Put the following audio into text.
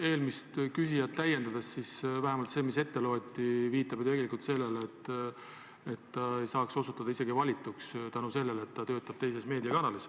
Eelmist küsijat täiendades viitab vähemalt see, mis ette loeti, ju tegelikult sellele, et ta ei saaks osutuda valituks, kuna ta töötab teises meediakanalis.